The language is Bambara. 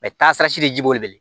taasirasi de ji b'o le bolo